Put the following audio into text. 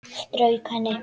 Strauk henni.